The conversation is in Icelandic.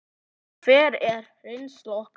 En hver er reynsla okkar?